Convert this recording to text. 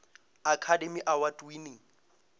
academy award winning